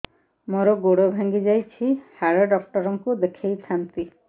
ମୋର ଗୋଡ ଭାଙ୍ଗି ଯାଇଛି ହାଡ ଡକ୍ଟର ଙ୍କୁ ଦେଖେଇ ଥାନ୍ତି